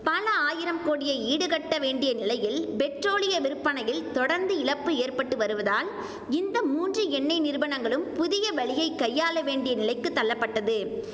பல ஆயிரம் கோடியை ஈடுகட்ட வேண்டிய நிலையில் பெட்ரோலிய விற்பனையில் தொடர்ந்து இழப்பு ஏற்பட்டு வருவதால் இந்த மூன்று எண்ணெய் நிறுவனங்களும் புதிய வழியை கையாள வேண்டிய நிலைக்கு தள்ளப்பட்டது